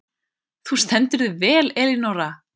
Þú stendur þig vel, Elínora!